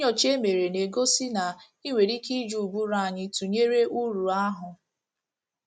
Nnyocha e mere na - egosi na e nwere ike iji ụbụrụ anyị tụnyere uru ahụ́.